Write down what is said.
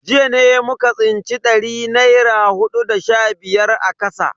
Jiya ne muka tsinci dari naira hudu da sha biyar a kasa.